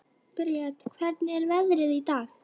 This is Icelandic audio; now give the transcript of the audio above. Briet, hvernig er veðrið í dag?